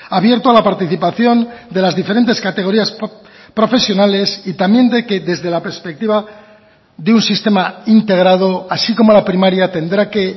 abierto a la participación de las diferentes categorías profesionales y también de que desde la perspectiva de un sistema integrado así como la primaria tendrá que